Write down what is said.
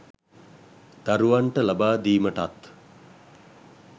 දරුවන්ට ලබා දීමටත්